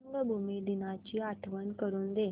रंगभूमी दिनाची आठवण करून दे